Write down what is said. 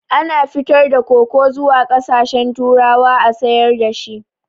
Ana fitar da koko zuwa ƙasashen turawa a sayar dashi